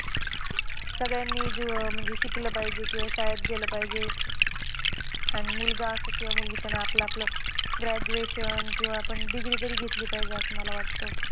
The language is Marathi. सगळ्यांनीच म्हणजे अह शिकले पाहिजे किंवा शाळेत गेलं पाहिजे. आणि मुलगा असो किंवा मुलगी त्याने आपलं-आपलं graduation किंवा आपण degree तरी घेतली पाहिजे असं मला वाटतं.